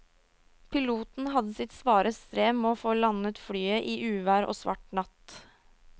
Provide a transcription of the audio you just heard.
Piloten hadde sitt svare strev med å få landet flyet i uvær og svart natt.